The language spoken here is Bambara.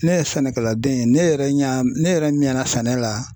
Ne ye sɛnɛkɛladen ye ne yɛrɛ ɲɛ ne yɛrɛ ɲɛna sɛnɛ la